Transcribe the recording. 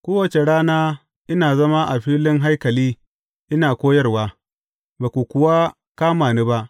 Kowace rana ina zama a filin haikali ina koyarwa, ba ku kuwa kama ni ba.